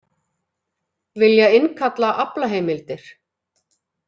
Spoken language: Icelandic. Vilja innkalla aflaheimildir